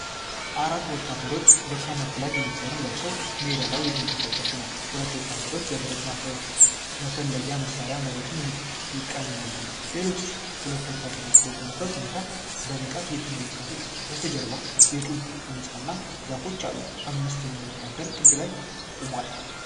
አራት ወታደሮች በካሞፍላጅ ዩኒፎርም ለብሰው ሜዳ ላይ እየተንቀሳቀሱ ነው። ሁለቱ ወታደሮች በብረት መፈለጊያ መሳሪያ መሬቱን ይቃኛሉ። ሌሎች ሁለት ወታደሮች በቆሙበት ሁኔታ በንቃት እየተመለከቱ ነው። ከበስተጀርባ የጡብ ሕንጻ እና ዛፎች አሉ። የአምስተኛው ወታደር ጥግ ላይ ቆሟል።